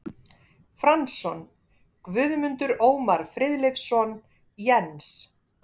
Franzson, Guðmundur Ómar Friðleifsson, Jens